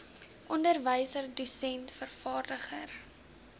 onderwyser dosent vervaardiger